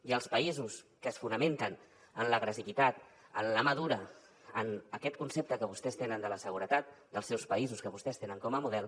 i els països que es fonamenten en l’agressivitat en la mà dura en aquest concepte que vostès tenen de la seguretat dels seus països que vostès tenen com a model